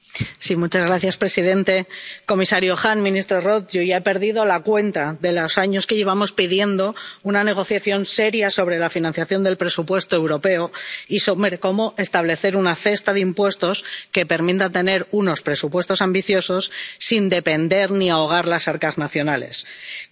Señor presidente, comisario Hahn, ministro Roth, yo ya he perdido la cuenta de los años que llevamos pidiendo una negociación seria sobre la financiación del presupuesto europeo y sobre cómo establecer una cesta de impuestos que permita tener unos presupuestos ambiciosos sin depender de las arcas nacionales ni ahogarlas.